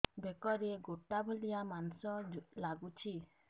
ବେକରେ ଗେଟା ଭଳିଆ ମାଂସ ଲାଗୁଚି